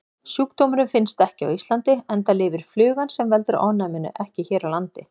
Sjúkdómurinn finnst ekki á Íslandi enda lifir flugan sem veldur ofnæminu ekki hér á landi.